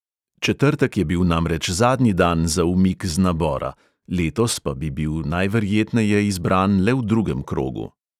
Četrtek je bil namreč zadnji dan za umik z nabora, letos pa bi bil najverjetneje izbran le v drugem krogu.